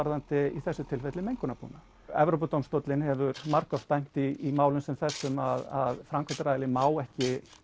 í þessu tilfelli um Evrópudómstóllinn hefur margoft dæmt í málum sem þessum að framkvæmdaraðilinn má ekki